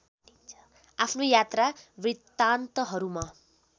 आफ्नो यात्रा वृतान्तहरूमा